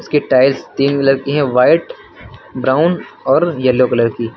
ये टाइल्स तीन कलर की है व्हाइट ब्राउन और येलो कलर की।